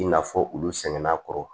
I n'a fɔ olu sɛgɛnn'a kɔrɔ